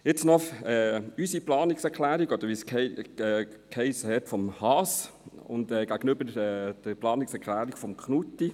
Jetzt noch zu unserer Planungserklärung – oder, wie gesagt wurde, zu jener «vom Haas» – gegenüber der Planungserklärung von Grossrat Knutti.